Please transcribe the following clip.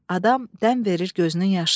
Adam dəm verir gözünün yaşına.